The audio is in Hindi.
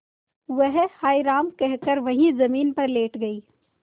वह हाय राम कहकर वहीं जमीन पर लेट गई